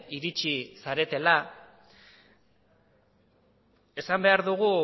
iritsi zaretela esan behar dugu